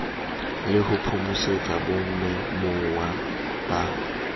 le ho phomosetsa bamemuwa ba